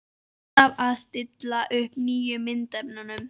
Alltaf að stilla upp nýjum myndefnum.